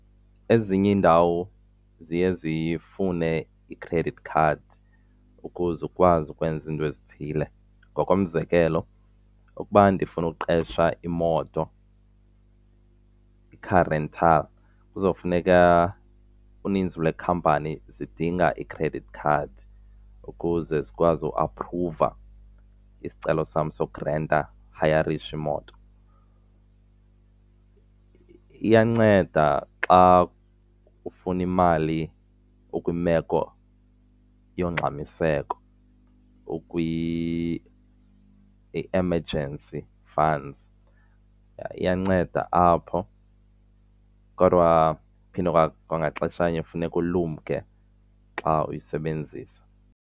Ezinye iindawo ziye zifune i-credit card ukuze ukwazi ukwenza izinto ezithile. Ngokomzekelo, ukuba ndifuna ukuqesha imoto i-car rental kuzofuneka uninzi lweekhampani zidinga i-credit card ukuze zikwazi ukuaphruva isicelo sam sokurenta, ukuhayarisha imoto. Iyanceda xa ufuna imali ukwimeko yongxamiseko ukwi-emergency funds, iyanceda apho kodwa phinde kwangaxeshanye kufuneka ulumke xa uyisebenzisa.